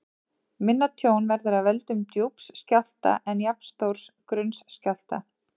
Minna tjón verður af völdum djúps skjálfta en jafnstórs grunns skjálfta.